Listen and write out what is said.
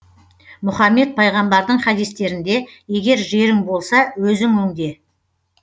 мұхаммед пайғамбардың хадистерінде егер жерің болса өзің өңде